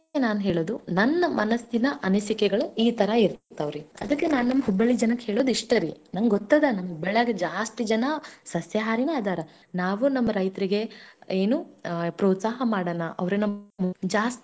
ಸಸ್ಯಾಹಾರಿ ಆಗೋದರಿಂದ ತರಕಾರಿ ಮಾರೋರು ಬೆಳೆ ಏನು ಅಂಗಡಿಗಳವರು ಅವರೆಲ್ಲರೂ ಸ್ವಲ್ಪ ಮುಂದೆ ಬರ್ಲಿ ಅವ್ರು ಜಗತ್ತಲ್ಲಿ ಏನೋ ಒಂದು ಕಾಣ್ಲಿ ಹೊಸದು ಅಷ್ಟೇ ನಾನ್ ಹೇಳ್ಕೊಳುದು ರೀ ನಿಮ್ಗೆ ನಿಮ್ ಆರೋಗ್ಯ ಕಾಪಾಡಿಕೊಳ್ರಿ ಇತ್ತಾಗ ನಮ್ಮ ದೇಶದ ರೈತನನ್ನು ಕಾಪಾಡೊನು.